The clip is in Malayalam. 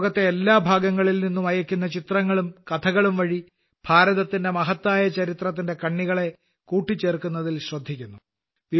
ഇത് ലോകത്തെ എല്ലാ ഭാഗങ്ങളിൽനിന്നും അയയ്ക്കുന്ന ചിത്രങ്ങളും കഥകളുംവഴി ഭാരതത്തിന്റെ മഹത്തായ ചരിത്രത്തിന്റെ കണ്ണികളെ കൂട്ടിച്ചേർക്കുന്നതിൽ ശ്രദ്ധിക്കുന്നു